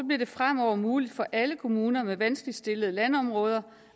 bliver det fremover muligt for alle kommuner med vanskeligt stillede landområder